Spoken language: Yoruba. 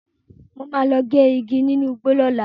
Mo máa lọ gé igi nínu igbó lọ́la.